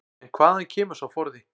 En hvaðan kemur sá forði?